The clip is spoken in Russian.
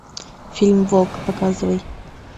фильм волк показывай